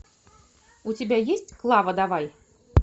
у тебя есть клава давай